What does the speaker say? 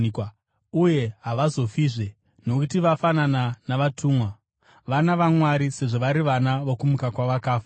uye havazofizve; nokuti vafanana navatumwa. Vana vaMwari, sezvo vari vana vokumuka kwavakafa.